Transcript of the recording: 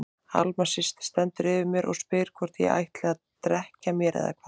Alma systir stendur yfir mér og spyr hvort ég ætli að drekkja mér eða hvað.